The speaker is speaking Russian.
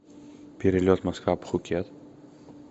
перелет москва пхукет